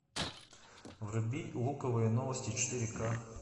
вруби луковые новости четыре к